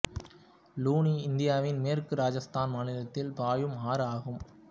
லுனி இந்தியாவின் மேற்கு ராஜஸ்தான் மாநிலத்தில் பாயும் ஆறு ஆகும்